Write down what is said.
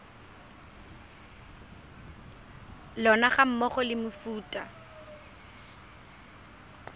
lona ga mmogo le mefuta